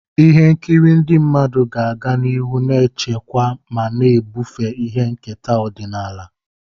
Ihe nkiri ndị mmadụ ga-aga n'ihu na-echekwa ma na-ebufe ihe nketa ọdịnala.